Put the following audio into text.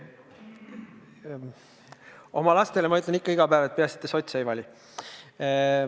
Oma lastele ma ütlen ikka iga päev: peaasi, et te sotse ei vali.